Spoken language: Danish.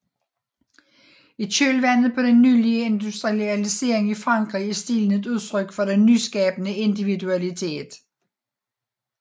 I kølvandet på den nylige industrialisering i Frankrig er stilen et udtryk for den nyskabende individualitet